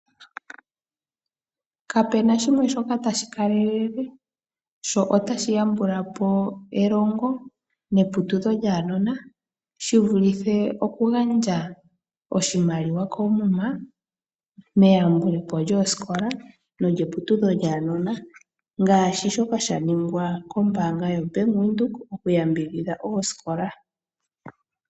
Kapu na shimwe shoka tashi kalele notashi yambula po elongo neputudho lyaanona shi vulithe okugandja oshimaliwa koomuma meyambulo po lyoosikola neputudho lyaanona ngaashi shoka sha ningwa kombaanga yaVenduka. Okuyambidhidha oosikola.